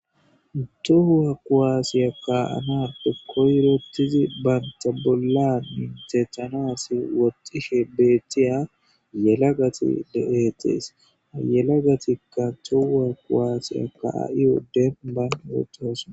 Tohuwa kuwaasiya ka7anape koyretizi banta bolla mintethanasi woxxishe beethtiya yelagati de7etees yelagatikka tohua kuwaasiya kaa7iyo denban betosona.